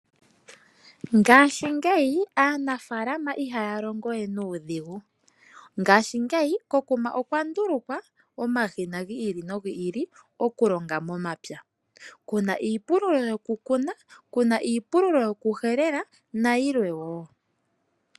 Ngaashingeyi aanafaalama ihaya longo we nuudhigu. Ngaashingeyi ko kuma okwa ndulukwa omashina go ili nogi ili oku longa momapya. Kuna iipululo yoku kuna, kuna iipululo yoku helela nayilwe wo.